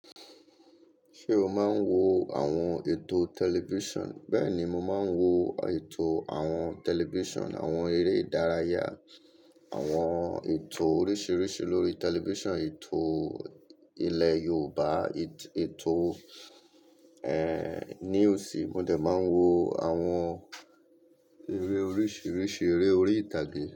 Ṣé o máa ń wo àwọn ètò tẹlifíṣàn? Bẹ́ẹ̀ni, mo máa ń wo ètò àwọn tẹlifíṣàn, àwọn eré ìdárayá, àwọn ètò oríṣiiríṣii lórí tẹlifíṣàn, ètò ilẹ̀ Yorùbá, ètò, news. Mo dẹ̀ máa ń wo àwọn eré oríṣiiríṣii, eré orí ìtàgé.